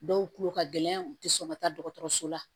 Dɔw tulo ka gɛlɛn u tɛ sɔn ka taa dɔgɔtɔrɔso la